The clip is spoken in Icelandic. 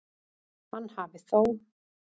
Hann hafi þó